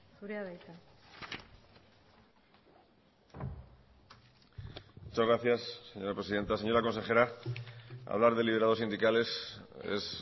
zurea da hitza muchas gracias señora presidenta señora consejera hablar de liberados sindicales es